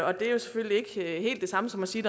og det er selvfølgelig ikke helt det samme som at sige